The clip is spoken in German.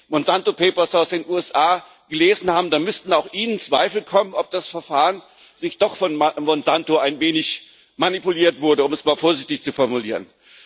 Wenn Sie die Monsanto Papers aus den USA gelesen haben, dann müssten auch Ihnen Zweifel kommen, ob das Verfahren nicht doch von Monsanto ein wenig manipuliert wurde, um es mal vorsichtig zu formulieren.